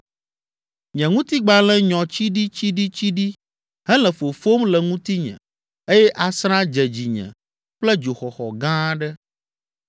Nye ŋutigbalẽ nyɔ tsiɖitsiɖitsiɖi hele fofom le ŋutinye eye asrã dze dzinye kple dzoxɔxɔ gã aɖe.